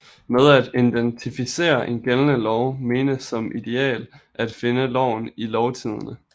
Med at identificere en gældende lov menes som ideal at finde loven i Lovtidende